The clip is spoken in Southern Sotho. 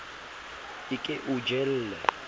a ke a o jelle